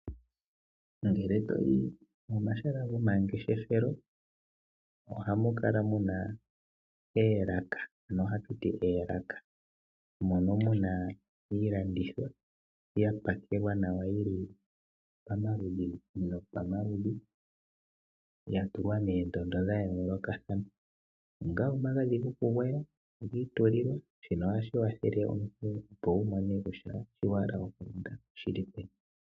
Ngele toyi momahala gomangeshefelo ohamu kala muna oolaka, mono muna iilandithomwa yapakelwa nawa yili pomaludhi nopomaludhi ya tulwa moondondo dhayoolokathana. Onga omagadhi gokugwaya ogiitululwa, shino ohashi kwathele omuntu opo wumone kutya shi wahala okulanda oshili peni.